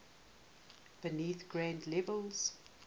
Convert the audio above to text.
beneath grade levels